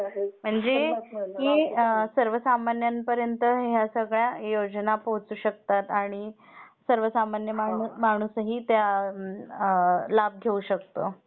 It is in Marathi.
म्हणजे सर्वसामान्यांपर्यंत या योजना पोहचू शकतात आणि सर्वसामान्य माणूसही त्या लाभ घेऊ शकतो.